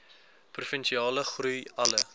provinsiale groei alle